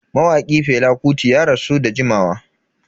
Mawaki Fela Kuti ya rasu da jimawa.